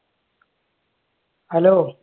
hello